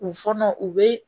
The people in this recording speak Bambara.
U fɔlɔ u bɛ